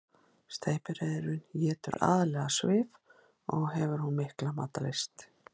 Steypireyðurin étur aðallega svif og hefur hún mikla matarlyst.